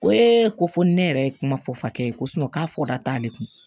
Ko ee ko fo ni ne yɛrɛ ye kuma fɔ fakɛ ye ko k'a fɔ da t'ale kun